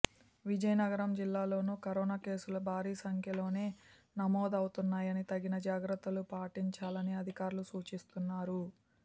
విజయనగరం జిల్లాలోనూ కరోనా కేసులు భారీ సంఖ్యలోనే నమోదవుతున్నాయని తగిన జాగ్రత్తలు పాటించాలని అధికారులు సూచిస్తున్నారు